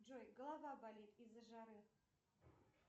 джой голова болит из за жары